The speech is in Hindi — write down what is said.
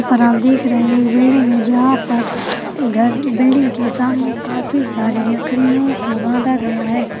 और आप देख रहे है एक बिल्डिंग है जहां पर घर बिल्डिंग के सामने काफी सारी लकड़ियों को बांधा गया है।